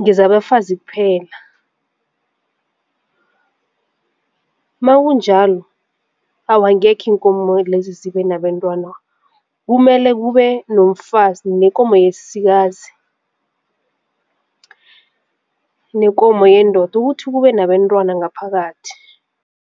ngezaba bafazi kuphela. Makunjalo awa angekhe iinkomo lezi zibe nabantwana kumele kube nomfazi nekomo yesikazi nekomo yendoda ukuthi kube nabentwana ngaphakathi.